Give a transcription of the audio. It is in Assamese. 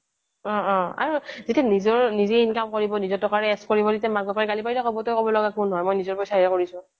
অ' অ' আৰু যেতিয়া নিজৰ নিজে income কৰিব নিজৰ টকাৰে esh কৰিব তেতিয়া মাক বাপেকে গালি পাৰিলে ক'ব তই ক'ব লগা কোন হৈ মই নিজৰ পইচা ৰেহে কৰিছোঁ